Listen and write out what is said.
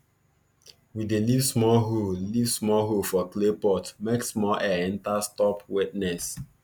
we dey leave small hole leave small hole for clay pot make small air enter stop wetness